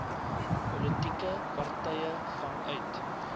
politieke partye vanuit